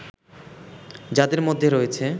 যাদের মধ্যে রয়েছে